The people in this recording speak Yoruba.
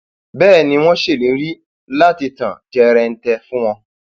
bẹẹ ni wọn ṣèlérí láti tàn jẹrẹǹtẹ fún wọn